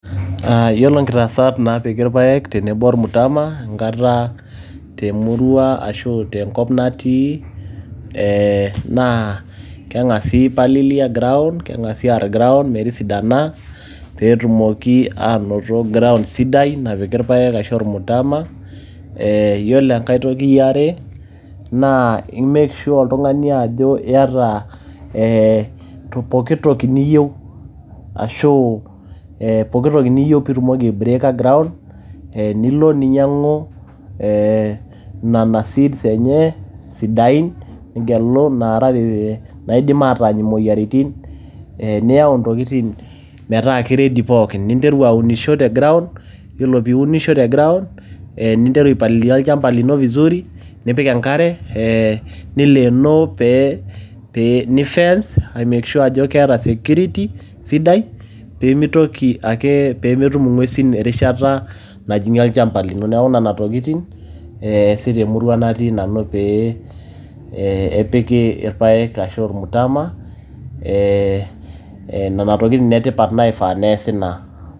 Yiolo nkitaasat naapiki ilpaek tenebo olmtama enkata te murua ashu tenkop natii naa keng`asi ai palilia ground keng`asi aar ground metisidana pee etumoki aanoto ground sidai napiki ilpaek ashu olmutama. Yiolo enkae toki e are naa i make sure oltung`ani ajo iyata ee poki toki niyieu ashu poki toki niyieu pee itumoki ai break aa ground. Eeeh niolo ninyiang`u nena seeds enye sidain nigelu inaidim ataany imoyiaritin niyau ntokitin metaa ki ready pookin. Ninteru aunisho te ground yiolo pee iunisho te ground ninteru ai palilia olchamba lino vizuri nipik enkare eeh nilenoo eeh, pee pee ni fence ayakikisha ajo keeta security esidai. Pee mitoki ake , pee metum ing`uesin erishata najing`ie olchamba lino. Niaku nena tokitin easi te murua natii nanu pee epiki ilpaek ashu olmtama, ee nena tokitin nne tipat naifaa neasi na.